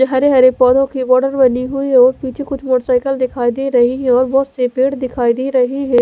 ये हरे हरे पोधो की बनी हुई है और पीछे कुछ मोटर साइकल दिखाई दे रही है और बहोत से पेड़ दिखाई दे रही है।